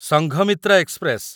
Sanghamitra express